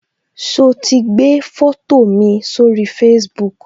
So ti gbé foto mi sórí Facebook